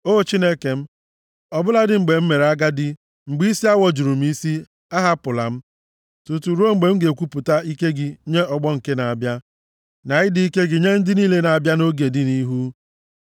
O Chineke m, ọ bụladị mgbe m mere agadi, mgbe isi awọ juru m isi, ahapụla m, tutu ruo mgbe m ga-ekwupụta ike gị nye ọgbọ nke na-abịa, na ịdị ike gị nye ndị niile na-abịa nʼoge dị nʼihu.